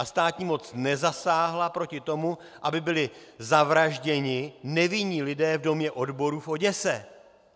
A státní moc nezasáhla proti tomu, aby byli zavražděni nevinní lidé v Domě odborů v Oděse.